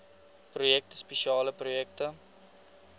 projekte spesiale projekte